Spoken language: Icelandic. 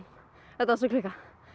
þetta var svo klikkað